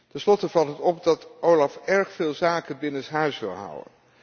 Ten slotte valt het op dat OLAF erg veel zaken binnenshuis wil houden.